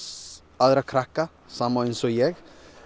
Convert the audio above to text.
aðra krakka sama eins og ég